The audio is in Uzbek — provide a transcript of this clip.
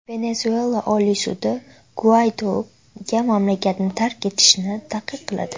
Venesuela Oliy sudi Guaydoga mamlakatni tark etishni taqiqladi.